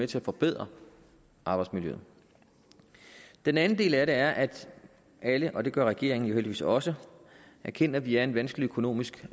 til at forbedre arbejdsmiljøet den anden del af det er at alle og det gør regeringen jo heldigvis også erkender at vi er en vanskelig økonomisk